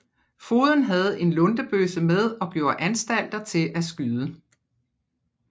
Fogeden havde en luntebøsse med og gjorde anstalter til at skyde